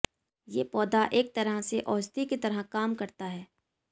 ये पौधा एक तरह से औषधि की तरह काम करता है